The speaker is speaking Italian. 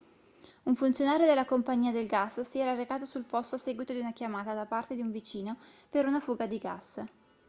un funzionario della compagnia del gas si era recato sul posto a seguito di una chiamata da parte di un vicino per una fuga di gas